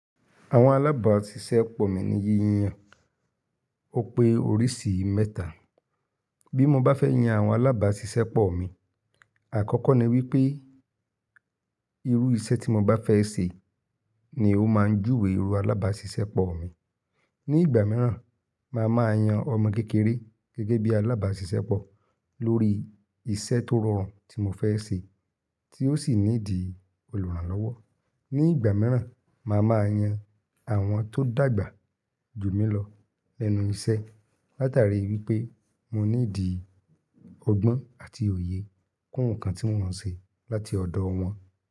Àwọn alábàáṣiṣẹ́pọ̀ mi ni yíyan, ó pé oríṣi mẹ́ta. Bí mo bá fẹ́ yan àwọn alábàáṣiṣẹ́pọ̀ mi, àkọ́kọ́ ni wípé irú iṣẹ́ tí mo bá fẹ́ ṣe ni ó máa júwe irú alábàáṣiṣẹ́pọ̀ mi. Ni ìgbà mìíràn, màá máa yan ọmọ kékeré gẹ́gẹ́ bí alábàáṣiṣẹ́pọ̀ lórí iṣẹ́ tó rọrùn tí mo fẹ́ ṣe tí ó sì ní dì olùrànlọ́wọ́. Ni ìgbà mìíràn, màá máa yan àwọn tó dàgbà jù mí lọ lẹ́nu iṣẹ́. Látàrí wípé mo nídìí ọgbọ́n àti òye kún nǹkan tí wọ́n ń ṣe láti ọ̀dọ̀ wọn.